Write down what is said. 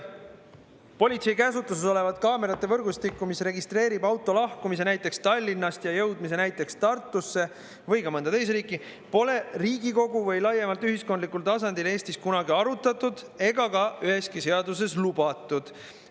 Sellist politsei käsutuses olevat kaamerate võrgustikku, mis registreerib auto lahkumise näiteks Tallinnast ja jõudmise näiteks Tartusse või ka mõnda teise riiki, pole Riigikogus või laiemalt ühiskondlikul tasandil Eestis kunagi arutatud ega ka üheski seaduses lubatud.